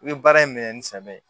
I bɛ baara in minɛ ni samiya ye